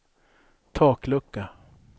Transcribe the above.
taklucka